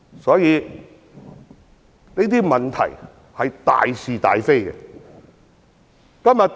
所以，這是大是大非的問題。